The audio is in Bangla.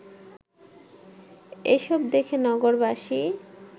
এসব দেখে নগরবাসী